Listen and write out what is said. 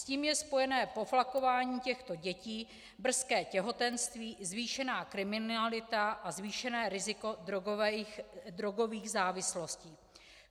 S tím je spojené poflakování těchto dětí, brzké těhotenství, zvýšená kriminalita a zvýšené riziko drogových závislostí.